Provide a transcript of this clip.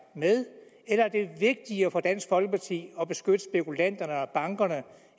med eller er det vigtigere for dansk folkeparti at beskytte spekulanterne og bankerne